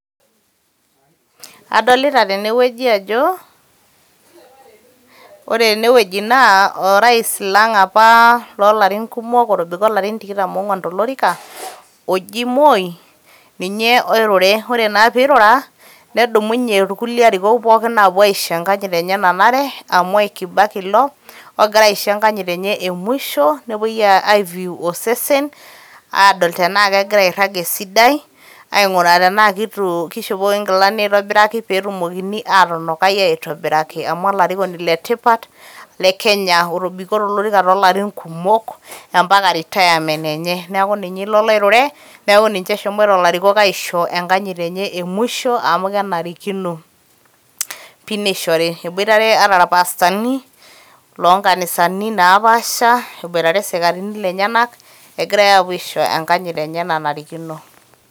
adolita tene wueji ajo ore ene wueji naa orais lang apa lolarin kmok otobiko ilarin tikitam tolorika oji Moi ninye oirure, ore naa pirura irkulie ariokok pookin aisho enkanyit enye nanare aa Mwai kibaki ilo ogira aisho enkanyit enye e mwisho nepoi ai view adol tenaa airag esidai aiguraa kitu kishopokoki nkilani aitobiraki petumokini atunukai aitobiraki am olarikoni le tipat le Kenya otobiko tolorika tolarin kumok ampaka retirement enye .niaku ninye ilo loirure niaku niche eshomoito ilarikok aisho enkanyit enye e mwisho amu kenarikino pi neishori. eboitare ata irpastani lonkanisani naapaasha eboitare isikarini lenyenak egira aponu aisho enkanyit enye nanarikino.